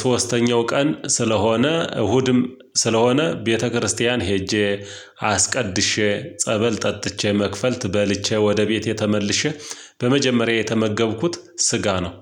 ሶስተኛው ቀን ስለሆነ እሁድም ስለሆነ ቤተክርስቲያን ሄጄ አስቀድሼ ጸበል ጠጥቼ መክፈልት በልቼ ወደ ቤቴ ተመልሼ በመጀመሪያ የተመገብኩት ስጋ ነው